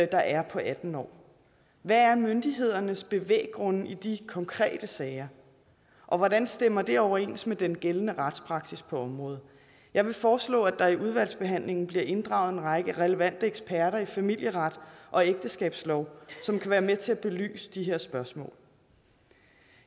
der er på atten år hvad er myndighedernes bevæggrunde i de konkrete sager og hvordan stemmer det overens med den gældende retspraksis på området jeg foreslår at der i udvalgsbehandlingen bliver inddraget en række relevante eksperter i familieret og ægteskabslovgivning som kan være med til at belyse de her spørgsmål